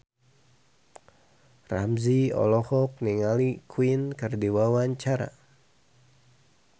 Ramzy olohok ningali Queen keur diwawancara